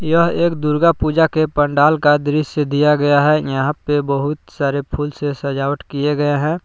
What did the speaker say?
यह एक दुर्गा पूजा के पंडाल का दृश्य दिया गया है यहां पे बहुत सारे फूल से सजावट किए गए हैं।